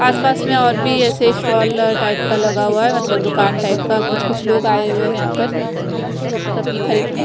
आसपास में और भी ऐसे स्टॉल टाइप का लगा हुआ है मतलब दुकान टाइप का कुछ कुछ लोग आए हुए है यहां पर सब्जी खरीदने।